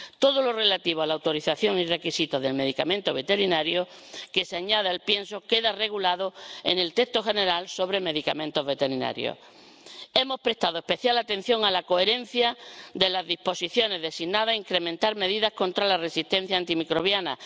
Todo lo relativo a la autorización y requisitos del medicamento veterinario que se aplique al pienso queda regulado en el texto general sobre medicamentos veterinarios. Hemos prestado especial atención a la coherencia de las disposiciones designadas a incrementar medidas contra la resistencia antimicrobiana.